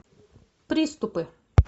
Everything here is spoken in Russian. приступы